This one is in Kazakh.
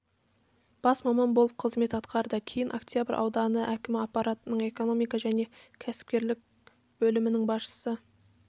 бас маман болып қызмет атқарды кейін октябрь ауданы әкімі аппаратының экономика және кәсіпкерлік бөлімінің басшысы